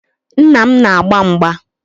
Nna m na-agba mgba